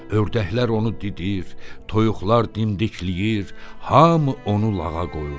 Ördəklər onu didir, toyuqlar dimdikləyir, hamı onu lağa qoyurdu.